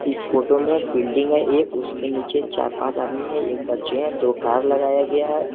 इस फोटो में बिल्डिंग है एक उसके नीचे चार पांच आदमी है एक बच्चे हैं दो कार लगाया गया है।